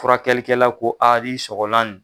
Furakɛlikɛla ko ni sɔgɔla nin